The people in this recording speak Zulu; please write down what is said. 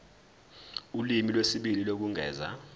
ulimi lwesibili lokwengeza